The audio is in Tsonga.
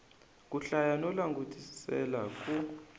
ku hlaya no langutisela ku